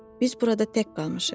Biz burada tək qalmışıq.